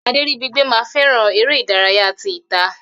Aderibigbe ma fẹràn eré ìdárayá tí ita.